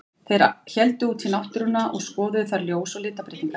Þeir héldu út í náttúruna og skoðuðu þar ljós og litabreytingar.